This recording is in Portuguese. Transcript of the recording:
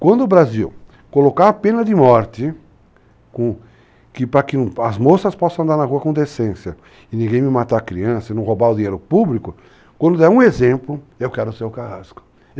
Quando o Brasil colocar a pena de morte, para que as moças possam andar na rua com decência e ninguém me matar a criança e não roubar o dinheiro público, quando der um exemplo, eu quero ser o carrasco.